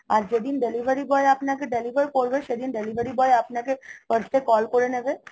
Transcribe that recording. আর যেদিন delivery boy আপনাকে delivery করবে সেদিন delivery boy আপনাকে first এ call করে নেবে